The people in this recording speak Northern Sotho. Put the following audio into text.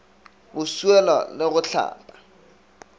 go swiela le go hlapa